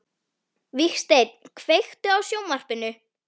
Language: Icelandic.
Vígsteinn, kveiktu á sjónvarpinu.